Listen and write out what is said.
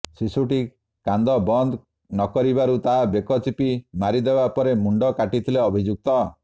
ଶିଶୁଟି କାନ୍ଦ ବନ୍ଦ ନକରିବାରୁ ତା ବେକ ଚିପି ମାରିଦେବା ପରେ ମୁଣ୍ଡ କାଟିଥିଲେ ଅଭିଯୁକ୍ତ